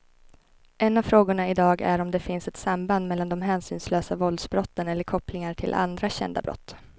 En av frågorna i dag är om det finns ett samband mellan de hänsynslösa våldsbrotten eller kopplingar till andra kända brott.